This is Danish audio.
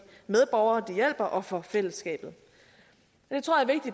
medborgere de hjælper og for fællesskabet